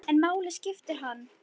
En hvaða máli skiptir hann?